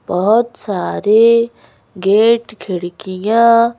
बहोत सारे गेट खिड़कियाँ --